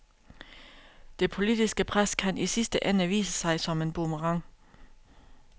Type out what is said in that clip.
Det politiske pres kan i sidste ende vise sig som en boomerang.